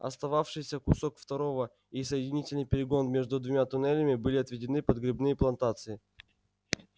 остававшийся кусок второго и соединительный перегон между двумя туннелями были отведены под грибные плантации